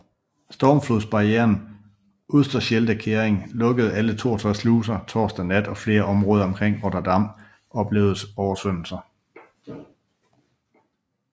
Stormflodsbarrieren Oosterscheldekering lukkede alle 62 sluser torsdag nat og flere områder omkring Rotterdam oplevede oversvømmelser